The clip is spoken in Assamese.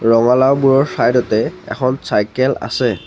ৰঙালাওবোৰৰ চাইড তে এখন চাইকেল আছে।